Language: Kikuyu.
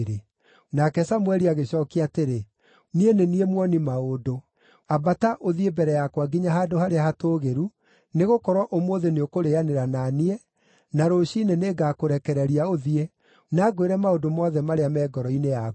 Nake Samũeli agĩcookia atĩrĩ, “Niĩ nĩ niĩ muoni-maũndũ. Ambata, ũthiĩ mbere yakwa nginya handũ harĩa hatũũgĩru, nĩgũkorwo ũmũthĩ nĩũkũrĩanĩra na niĩ, na rũciinĩ nĩngakũrekereria ũthiĩ, na ngwĩre maũndũ mothe marĩa me ngoro-inĩ yaku.